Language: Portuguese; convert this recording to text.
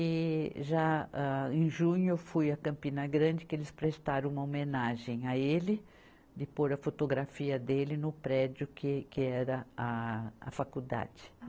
E já, âh, em junho eu fui à Campina Grande, que eles prestaram uma homenagem a ele, de pôr a fotografia dele no prédio que, que era a faculdade.